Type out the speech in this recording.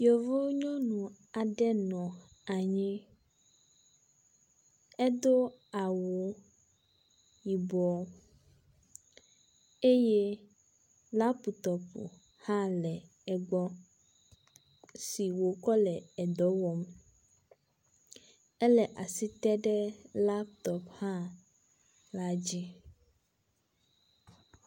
Yevuo nyɔnu aɖe nɔ anyi edó awu yibɔ eye laptop hã le egbɔ si wòkɔ le dɔwɔm ele asi tem ɖe laptopla dzi